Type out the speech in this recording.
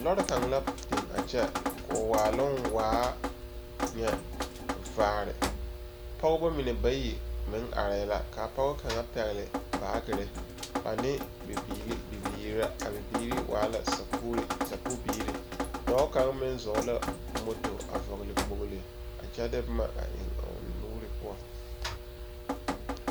Lͻre kaŋ la biŋ a kyԑ koo waaloŋ waa nyԑ vaare. Pͻgebͻ mine bayi meŋ arԑԑ la kaa pͻge kaŋa pԑgele baagere ane bibiili bibiiri la, a bibiiri waa la sakuuri sakuu biiri. Dͻͻ kaŋa meŋ zͻͻ la o moto a vͻgele kpoli a kyԑ de boma a eŋ a o nuuri poͻ.